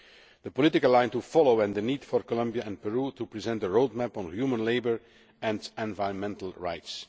the political line to follow and the need for Colombia and Peru to present a roadmap on human labour and environmental rights.